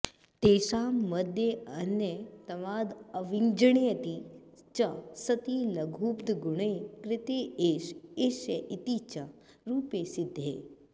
तेषां मद्येऽन्यतमाद्व्वञि ण्यति च सति लघूपधगुणे कृते एष एष्य इति च रूपे सिद्धे